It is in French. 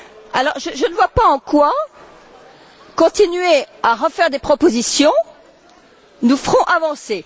Alors, je ne vois pas en quoi continuer à refaire des propositions nous ferait avancer.